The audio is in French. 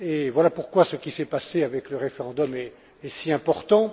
Voilà pourquoi ce qui s'est passé avec le référendum est si important.